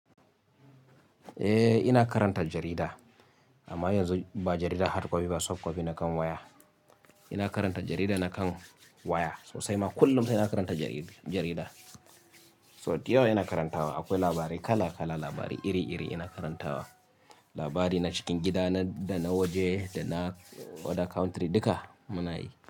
Eh, ina karanta jarida. Amma yanzu ba jarida hard copy ba, soft copy na kan waya. Ina karanta jarida na kan waya. Sosai ma kullum sai ina karanta jari--, jarida. So, da yau ina karantawa. Akwai labarai kala kala, labarai iri iri ina karantawa. Labari na cikin gida, na da na waje da na other country duka muna yi.